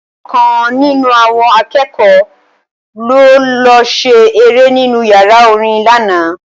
Ọ̀kan nínú àwọn akẹ́kọ̀ọ́ ló lọ ṣe eré nínú yàrá orin lánàá